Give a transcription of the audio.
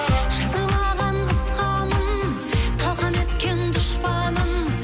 жазалаған қысқанын талқан еткен дұшпанын